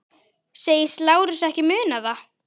Segist Lárus ekki muna það.